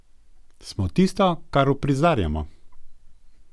Smo tisto, kar uprizarjamo.